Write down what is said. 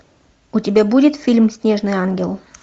у тебя будет фильм снежный ангел